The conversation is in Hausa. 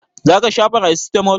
Za ka sha paracetamol?